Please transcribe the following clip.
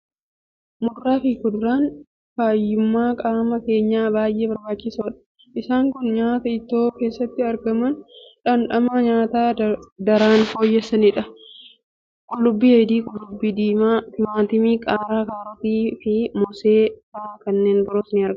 Muduraa fi kuduraan fayyummaa qaama keenyaaf baay'ee barbaachisoodha. Isaan kun nyaata ittoo keessatti argamanii dhamdhama nyaataa daran fooyyessanidha. Qullubbii adii, qullubbii diimaa, timaatimii, qaaraa, kaarotii, mosee fi kanneen biroon ni argamu.